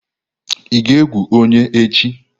Ị ga-egwu onye echi?